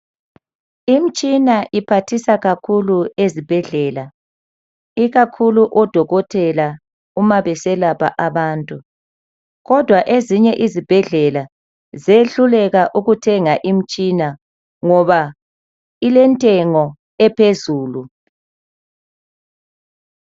Imtshina iphathisa kakhulu ezibhedlela ikakhulu odokotela uma beselapha abantu kodwa ezinye izibhedlela ziyehluleka ukuthenga imitshina ngoba ilentengo ephezulu.